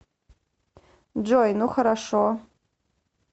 джой ну хорошо